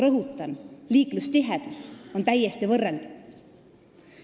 Rõhutan: liiklustihedus on täiesti võrreldav.